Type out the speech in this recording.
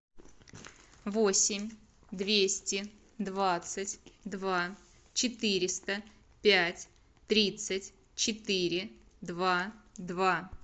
восемь двести двадцать два четыреста пять тридцать четыре два два